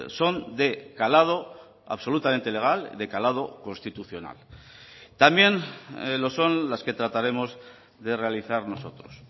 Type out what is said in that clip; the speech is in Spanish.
son de calado absolutamente legal de calado constitucional también lo son las que trataremos de realizar nosotros